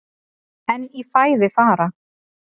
En í fæði fara